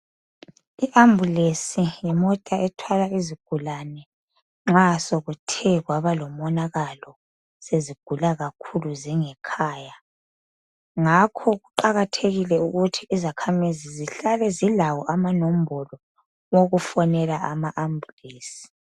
I ambulensi yimota ethwala izigulane nxa sokuthe kwaba lomonakalo sezigula kakhulu zingekhaya ngakho kuqakathekile ukuthi izakhamizi zihlale zilawo amanombolo okufonela ama ambulensi.